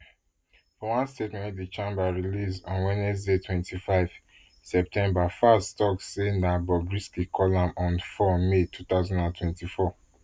for one statement wey di chamber release on wednesday twenty-five september falz tok say na bobrisky call am on four may two thousand and twenty-four